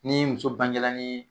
Ni muso bangela nin